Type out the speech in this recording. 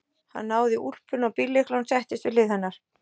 Hann náði í úlpuna og bíllyklana og settist við hlið hennar.